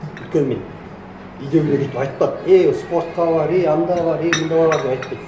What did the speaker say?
тіпті мен үйдегілер өйтіп айтпады ей спортқа бар ей анда бар ей мында бар деп айтпайды